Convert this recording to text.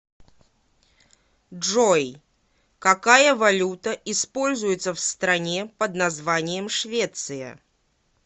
джой какая валюта используется в стране под названием швеция